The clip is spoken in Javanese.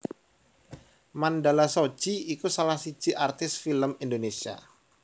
Mandala Shoji iku salah siji artis film Indonesia